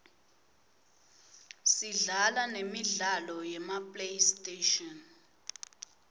sidlala nemidlalo yema playstation